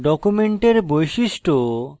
document বৈশিষ্ট্য